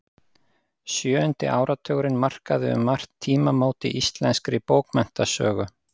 Sjöundi áratugurinn markaði um margt tímamót í íslenskri bókmenntasögu.